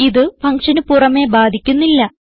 ഇത് ഫങ്ഷന് പുറമേ ബാധിക്കുന്നില്ല